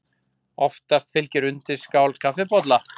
Oftast fylgir undirskál kaffibolla.